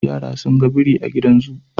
Yara sun ga biri a gidan zoo,